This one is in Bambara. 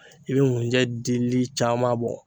I be ŋunjɛ dili caaman bɔ